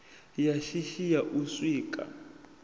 ya shishi ya u sikwa